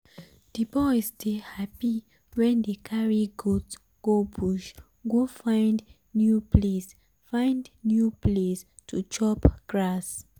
the boys dey happy wen dey carry goat go bush go find new place find new place to chop grass